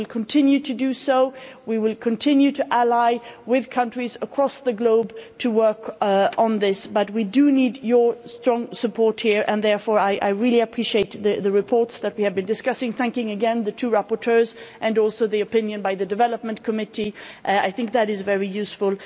We will continue to do so. We will continue to ally with countries across the globe to work on this, but we do need your strong support here, and therefore I really appreciate the reports that we have been discussing, I thank again the two rapporteurs and also for the opinion of the Committee on Development I think that is very useful.